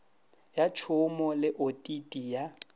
ya tšhomo le otiti ya